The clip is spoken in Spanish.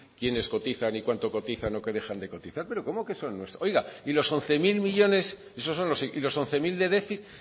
quienes cotizan y cuánto cotizan o qué dejan de cotizar pero cómo que son nuestros oiga y los once mil de déficit